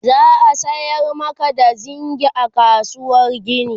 za'a sayar Maka da zingi a kasuwar gini